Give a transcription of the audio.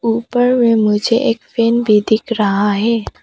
ऊपर में मुझे एक फैन भी दिख रहा है।